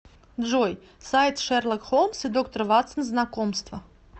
джой сайт шерлок холмс и доктор ватсон знакомство